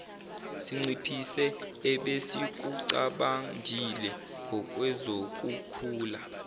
sinciphise ebesikucabangile ngokwezokukhula